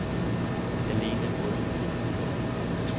Eline Bruun